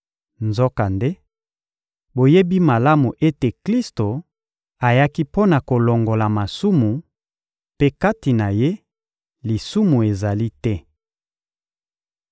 Nzokande, boyebi malamu ete Klisto ayaki mpo na kolongola masumu; mpe kati na Ye, lisumu ezali te.